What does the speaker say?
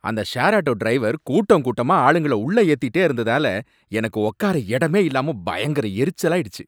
அந்த share auto driver கூட்டம் கூட்டமா ஆளுங்கள உள்ளே ஏத்திட்டே இருந்ததால, எனக்கு உக்கார இடமே இல்லாம பயங்கர எரிச்சலாயிடுச்சு